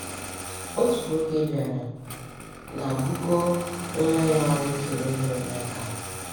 Otu nwoke bịara na bukoo nwa ya nwoke obere n’aka.